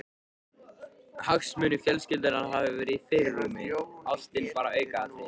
Hagsmunir fjölskyldunnar hafi verið í fyrirrúmi, ástin bara aukaatriði.